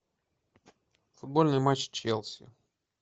футбольный матч челси